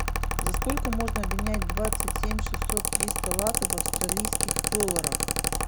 за сколько можно обменять двадцать семь шестьсот триста латов в австралийских долларах